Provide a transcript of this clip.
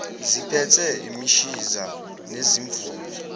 ziphethe imishiza nezimvubu